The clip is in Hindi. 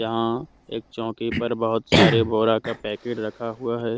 यहां एक चौकी पर बहुत सारे बोरे का पैकेट रखा हुआ है।